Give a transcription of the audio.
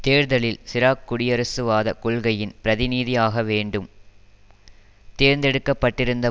தேர்தலில் சிராக் குடியரசுவாத கொள்கையின் பிரதிநிதி ஆக மீண்டும் தேர்ந்தெடுக்கப்பட்டிருந்த